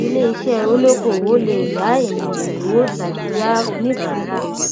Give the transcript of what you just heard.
ilé iṣẹ olókoòwò lè yá ènìyàn lówó tàbí yá oníbàárà